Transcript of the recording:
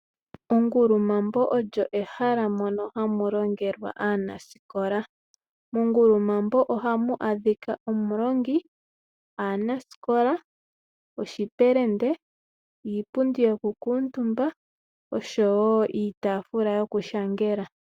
Ongulumabo olyo ehala moka hamu longelwa aanasikola. Mongulumambo ohamu adhika omulongi, aanasikola, oshipelende, iipundi yokukutumba osho woo iitafula yoku nyolela.